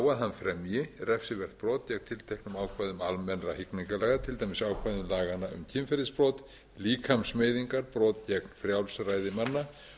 að hann fremji refsivert brot gegn tilteknum ákvæðum almennra hegningarlaga til dæmis ákvæðum laganna hjá kynferðisbrot líkamsmeiðingar brot gegn frjálsræði manna